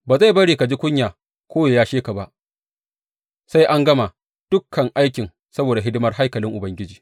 Ba zai bari ka ji kunya ko yă yashe ka ba, sai an gama dukan aikin saboda hidimar haikalin Ubangiji.